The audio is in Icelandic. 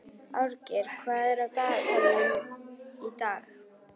Árgeir, hvað er í dagatalinu í dag?